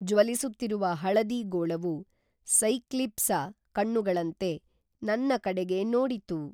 ಜ್ವಲಿಸುತ್ತಿರುವ ಹಳದಿ ಗೋಳವು ಸೈಕ್ಲೀಪ್ಸ ಕಣ್ಣುಗಳಂತೆ ನನ್ನ ಕಡೆಗೆ ನೋಡಿತು